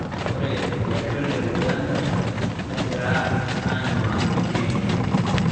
Ore Olosho le Uganda negira aanyuaki enkiremore